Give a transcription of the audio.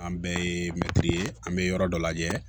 An bɛɛ ye mɛtiri ye an bɛ yɔrɔ dɔ lajɛ